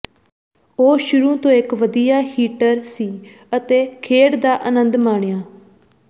ਉਹ ਸ਼ੁਰੂ ਤੋਂ ਇੱਕ ਵਧੀਆ ਹਿੱਟਰ ਸੀ ਅਤੇ ਖੇਡ ਦਾ ਆਨੰਦ ਮਾਣਿਆ